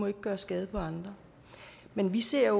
ikke gøre skade på andre men vi ser